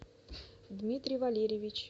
дмитрий валерьевич